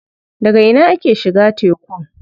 Daga ina ake shiga tekun?